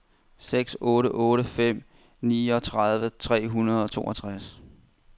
seks otte otte fem niogtredive tre hundrede og toogtres